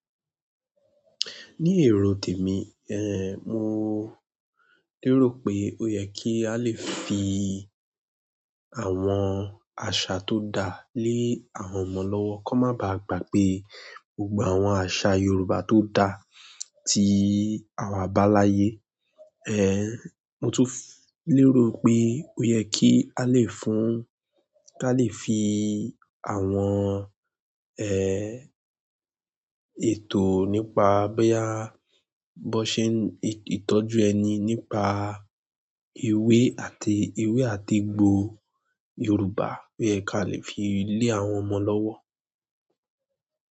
Ní èro tèmi, mo lérò pé ó yẹ kí á lè fi àwọn àṣà tó da lé àwọn ọmọ lọ́wọ́ kó má báa gbàgbé e gbogbo àwọn àṣà yorùbá tó da tí àwa bá láyé. Mo tún lérò pé ó yẹ kí á lè fún-- ká lè fi àwọn ètò nípa bóyá bó sé n ìtọ́jú ẹni nípa ewé àti ewé àti egbò Yòrùbá, ó ye k'a lè fi lé àwọn ọmọ lọ́wọ́.